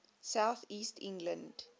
south east england